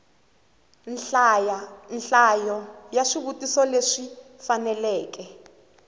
nhlayo ya swivutiso leswi faneleke